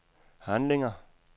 handlinger